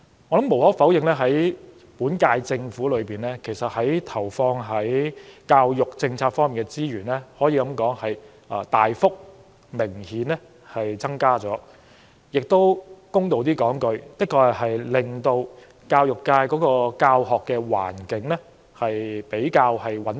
無可否認，本屆政府投放在教育政策上的資源，可說是明顯有大幅增加，說得公道一些，就是確實穩定了教學環境。